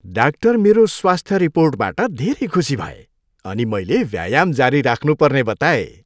Doctor मेरो स्वास्थ्य रिपोर्टबाट धेरै खुसी भए अनि मैले व्यायाम जारी राख्नुपर्ने बताए।